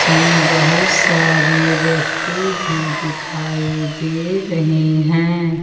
में बहुत सारे व्यक्ति भी दिखाई दे रहे हैं।